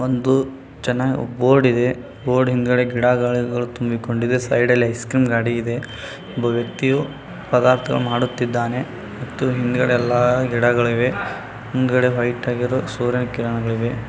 ಒಂದು ಜನ ಬೋರ್ಡ್ ಇದೆ ಬೋರ್ಡ್ ಹಿಂದಗಡೆ ಗಡ ಗಿಡಗಳು ತುಂಬಿಕೊಂಡಿವೆ ಸೈಡಲ್ ಐಸ್ ಕ್ರೀಮ್ ಅಂಗಡಿ ಇದೆ. ಒಬ್ಬ ವ್ಯಕ್ತಿಯು ಪದಾರ್ಥ ಮಾಡುತಿದ್ದಾನೆ ಮತ್ತು ಹಿಂದ್ಗಡೆ ಎಲ್ಲಾ ಹಿಂದ್ಗಡೆ ಎಲ್ಲ ಗಿಡಗಳಿವೆ ಮತ್ತು ಹಿಂದ್ಗಡೆ ವೈಟ್ ಆಗಿರೋ ಸೂರ್ಯನ ಕಿರಣಗಳಿವೆ.